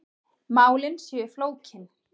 Málin séu flókin.